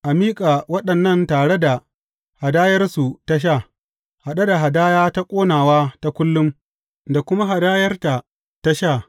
A miƙa waɗannan tare da hadayarsu ta sha, haɗe da hadaya ta ƙonawa ta kullum, da kuma hadayarta ta sha.